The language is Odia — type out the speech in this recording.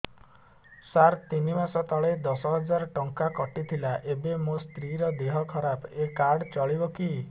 ସାର ତିନି ମାସ ତଳେ ଦଶ ହଜାର ଟଙ୍କା କଟି ଥିଲା ଏବେ ମୋ ସ୍ତ୍ରୀ ର ଦିହ ଖରାପ ଏ କାର୍ଡ ଚଳିବକି